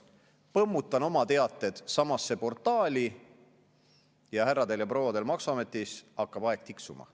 Põmmutan oma teated samasse portaali ja härradel ja prouadel maksuametis hakkab aeg tiksuma.